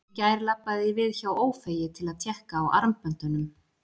Í gær labbaði ég við hjá Ófeigi til að tékka á armböndunum.